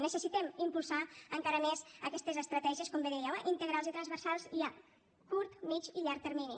necessitem impulsar encara més aquestes estratègies com bé dèieu eh integrals i transversals i a curt mitjà i llarg termini